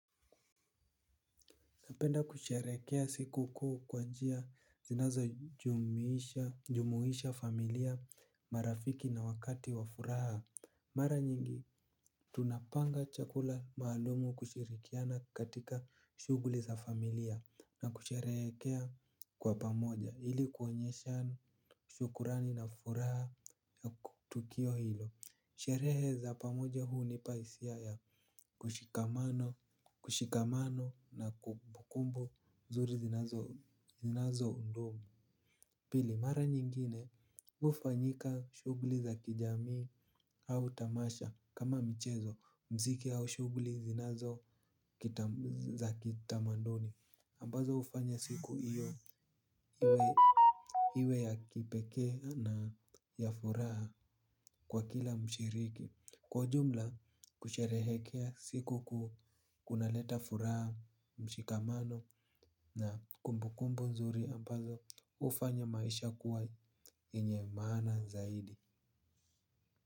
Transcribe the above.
Napenda kusherehekea siku kuu kwa njia zinazojumuisha familia marafiki na wakati wa furaha. Mara nyingi tunapanga chakula maalum kushirikiana katika shughuli za familia na kusherehekea kwa pamoja ili kuonyesha shukrani na furaha ya tukio hilo. Sherehe za pamoja hunipa hisia ya ushikamano na kumbukumbu nzuri zinazo zinazodumu. Pili mara nyingine hufanyika shughuli za kijamii au tamasha kama mchezo muziki au shughuli zinazo za kitamaduni ambazo hufanya siku hiyo iwe ya kipekee na ya furaha kwa kila mshiriki. Kwa jumla kusherehekea siku kunaleta furaha, mshikamano na kumbukumbu nzuri ambazo hufanya maisha kuwa yenye maana zaidi.